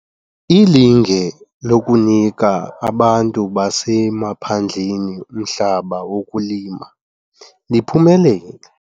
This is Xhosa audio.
Ilinge lokunika abantu basemaphandleni umhlaba wokulima, liphumelele.